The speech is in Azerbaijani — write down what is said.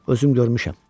Özüm görmüşəm.